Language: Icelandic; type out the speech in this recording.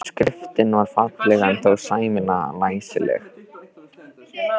Skriftin var ekki falleg en þó sæmilega læsileg.